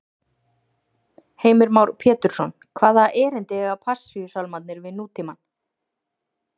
Heimir Már Pétursson: Hvaða erindi eiga Passíusálmarnir við nútímann?